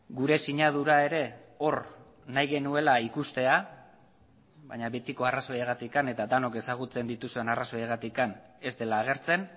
gure sinadura ere hor nahi genuela ikustea baina betiko arrazoiagatik eta denok ezagutzen dituzuen arrazoiagatik ez dela agertzen